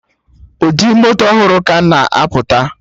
Ụdị moto ọhụrụ ka ga na apụta